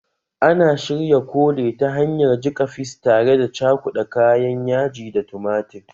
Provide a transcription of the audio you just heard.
Ana shirya kole ta hanyar jika fis tare da cakuda kayan yaji da tumatir